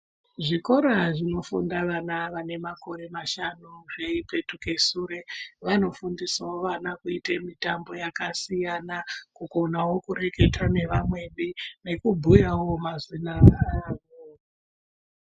Zvikora zvinofunda vana vane makore mashanu zviipetike sure. Vanofundisavo vana kuita mitambo yakasiyana kugonavo kureketa nevamweni nekubhuyavo mazina azvo.